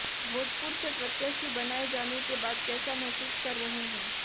भोजपुर से प्रत्याशी बनाए जाने के बाद कैसा महसूस कर रहे हैं